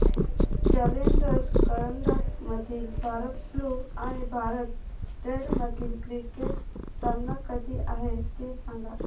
challenger करंडक मधील Bharat blue आणि भारत रेड मधील क्रिकेट सामना कधी आहे ते सांगा